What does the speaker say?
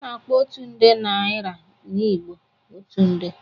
A na-akpo otu nde naịra na Igbo "otu nde."